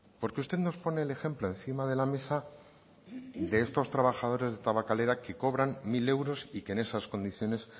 porque usted nos pone el ejemplo encima de la mesa de estos trabajadores de tabakalera que cobran mil euros y que en esas condiciones